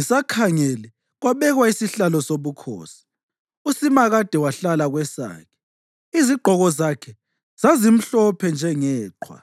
“Ngisakhangele, kwabekwa izihlalo zobukhosi, uSimakade wahlala kwesakhe. Izigqoko zakhe zazimhlophe njengeqhwa;